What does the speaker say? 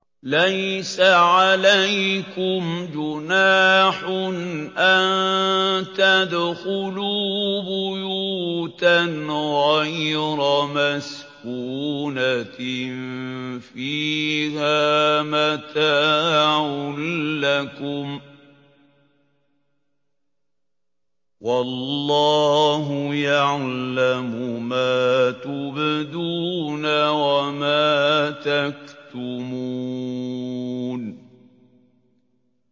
لَّيْسَ عَلَيْكُمْ جُنَاحٌ أَن تَدْخُلُوا بُيُوتًا غَيْرَ مَسْكُونَةٍ فِيهَا مَتَاعٌ لَّكُمْ ۚ وَاللَّهُ يَعْلَمُ مَا تُبْدُونَ وَمَا تَكْتُمُونَ